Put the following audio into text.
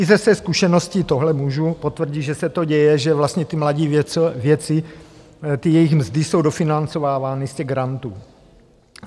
I ze své zkušeností tohle můžu potvrdit, že se to děje, že vlastně ti mladí vědci, ty jejich mzdy jsou dofinancovávány z těch grantů.